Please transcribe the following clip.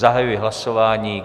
Zahajuji hlasování.